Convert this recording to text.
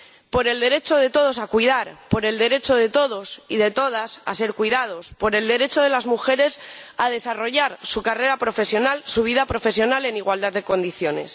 Por el derecho de todos a cuidar, por el derecho de todos y de todas a ser cuidados, por el derecho de las mujeres a desarrollar su carrera profesional y su vida profesional en igualdad de condiciones.